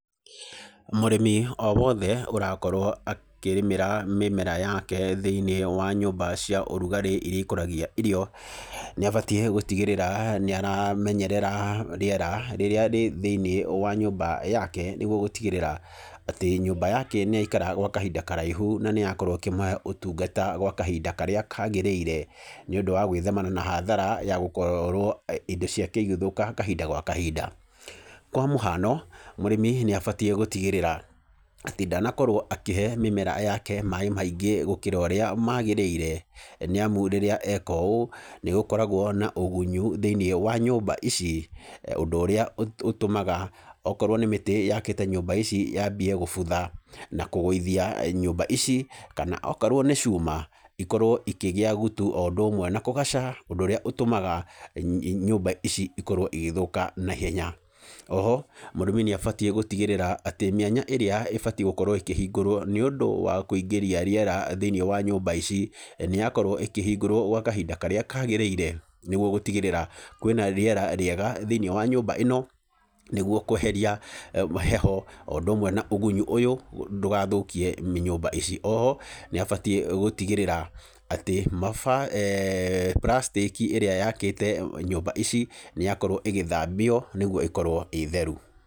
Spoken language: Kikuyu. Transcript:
Mũrĩmi o wothe ũrakorwo akĩrĩmĩra mĩmera yake, thĩinĩ wa nyũmba cia ũrugarĩ iria ikũragia irio, nĩ abatiĩ gũtigĩrĩra nĩ aramenyerera rĩera rĩrĩa rĩ thĩinĩ wa nyũmba yake, nĩguo gũtigĩrĩra atĩ nyũmba yake nĩ yaikara gwa kahinda karaihu, na nĩ yakorwo ĩkĩmũhe ũtungata gwa kahinda karĩa kagĩrĩire, nĩ ũndũ wa gũthemana na hathara ya gũkorwo indo ciake igĩthũka kahinda gwa kahinda, kwa mũhano, mũrĩmi nĩabatiĩ gũtigĩrĩra atĩ ndanakorwo akĩhe mĩmera yake maĩ maingĩ gũkĩra ũrĩa magĩrĩire, nĩ amu rĩrĩa eka ũũ nĩ gũkoragwo na ũgunyu thĩinĩ wa nyũmba ici, ũndũ ũrĩa ũtũ ũtũmaga okorwo nĩ mĩtĩ yakĩte nyũmba ici yambie gũbutha, na kũgũithia nyũmba ici, kana okorwo nĩ cuma ikorwo ikĩgĩa gutu o ũndũ ũmwe na kũgaca, ũndũ ũrĩa ũtũmaga nyũmba ici ikorwo igĩthũka naihenya, oho, mũrĩmi nĩ abatiĩ gũtigĩrĩra atĩ mĩanya ĩrĩa ĩbatiĩ gũkorwo ĩkĩhingũrwo nĩundũ wa kũingĩria rĩera thĩinĩ wa nyũmba ici nĩ yakorwo ĩkĩhingũrwo gwa kahinda karĩa kagĩrire nĩguo gũtigĩrĩra kwĩna rĩera rĩega thinĩ wa nyũmba ĩno, nĩguo kweheria heho, o ũndũ ũmwe na ũgunyu ũyũ, ndũgathũkie nyũmba ici, oho, nĩ abatiĩ gũtigĩrĩra atĩ maba eeh, pracitĩki ĩrĩa yakĩte nyũmba ici nĩ yakorwo ĩgĩthambio nĩguo ĩkorwo ĩ theru.